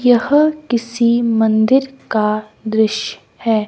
यह किसी मंदिर का दृश्य है।